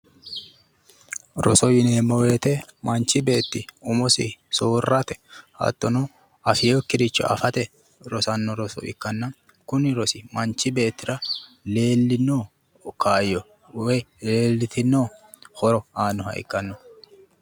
Roso yineemmo woyiite manchi beetti umosi soorrate hattono afwookkiricho afate rosanno roso ikkanna kuni rosi manchi beettira leellino kaayyo woyi leellitinno horo aannoha ikkanno.